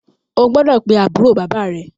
O gbọ́dọ̀ pe àbúrò bàbá à rẹ.